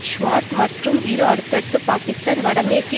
ஸ்வாட் மற்றும் இரு அடுத்தடுத்து பாக்கிஸ்தான் வட மேற்கு